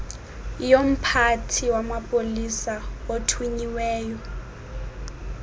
yomphathi wamapolisa othunyiweyo